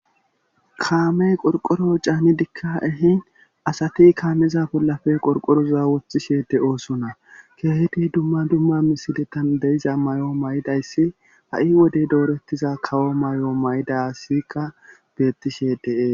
Kamey qorqoro caanidikka ehin asati kaameza bollafe qorqoroza woththishe de oosona keehedi dumma dumma misiletan deiza may7o may7idayssi ha7i wode doorettiza kawo may7o may7ida siqa bettishe dees.